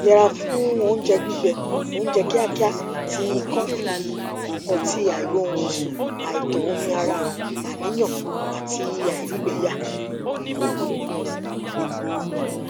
yẹra fún oúnjẹ gbígbẹ oúnjẹ kíákíá tii kọfí ọtí àìróorunsùn àìtó omi ara àníyàn àti àìrígbẹyà